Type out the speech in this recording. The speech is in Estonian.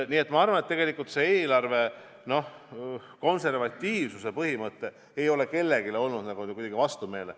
Nii et ma arvan, et tegelikult ei ole eelarve konservatiivsuse põhimõte kellelegi kuidagi vastumeelne.